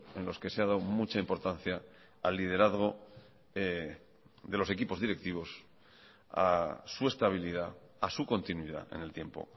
en los que se ha dado mucha importancia al liderazgo de los equipos directivos a su estabilidad a su continuidad en el tiempo